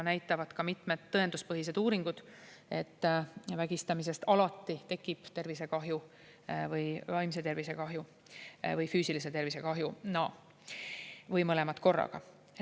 Ka mitmed tõenduspõhised uuringud näitavad seda, et vägistamisest alati tekib tervisekahju, vaimse tervise kahju või füüsilise tervise kahju või mõlemad korraga.